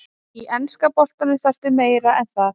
Í enska boltanum þarftu meira en það.